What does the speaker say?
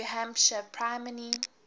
new hampshire primary